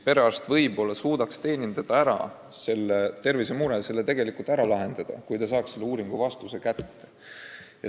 Perearst võib-olla suudaks selle tervisemure ära lahendada, kui ta saaks kiiresti uuringu vastuse kätte.